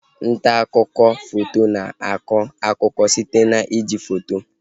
Ntaakụkọ foto na akọ akụkọ site na iji foto